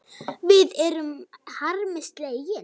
Við erum harmi slegin.